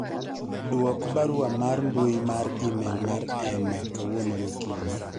dwok barua mar mbui mar email mar Emma kawuono gokinyi